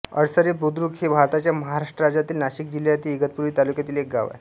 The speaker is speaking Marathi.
अडसरे बुद्रुक हे भारताच्या महाराष्ट्र राज्यातील नाशिक जिल्ह्यातील इगतपुरी तालुक्यातील एक गाव आहे